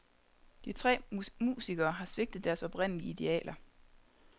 De tre musikere har svigtet deres oprindelige idealer.